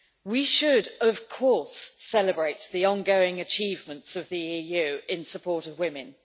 We should, of course, celebrate the ongoing achievements of the EU in support of women.